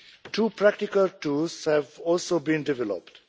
Two practical tools have also been developed.